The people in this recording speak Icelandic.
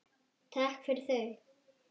Takk fyrir þau.